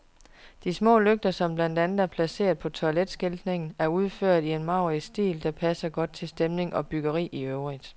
De små lygter, som blandt andet er placeret på toiletskiltningen, er udført i en maurisk stil, der passer godt til stemning og byggeri i øvrigt.